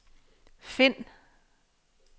find